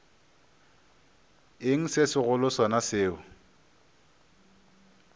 eng se segolo sona seo